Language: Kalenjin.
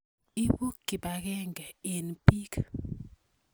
Ipu kipakenge eng' piik.